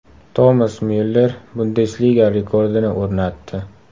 Tomas Myuller Bundesliga rekordini o‘rnatdi.